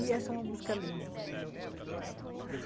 E essa é uma música linda, né?